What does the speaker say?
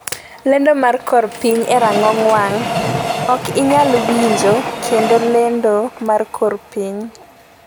lendo mar kor piny e rang'ong wang'. Ok inyal winjo kendo lendo mar kor piny